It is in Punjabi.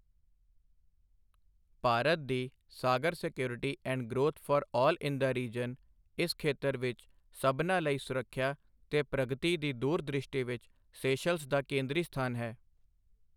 ਭਾਰਤ ਦੀ SAGAR security and growth for all in the region ਇਸ ਖੇਤਰ ਵਿੱਚ ਸਭਨਾਂ ਲਈ ਸੁਰੱਖਿਆ ਤੇ ਪ੍ਰਗਤੀ ਦੀ ਦੂਰ ਦ੍ਰਿਸ਼ਟੀ ਵਿੱਚ ਸੇਸ਼ਲਸ ਦਾ ਕੇਂਦਰੀ ਸਥਾਨ ਹੈ।